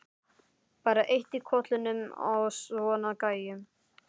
Bara eitt í kollinum á svona gæjum.